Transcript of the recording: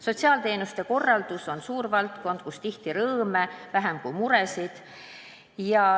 Sotsiaalteenuste korraldus on suur valdkond, kus tihti on rõõme vähem kui muresid.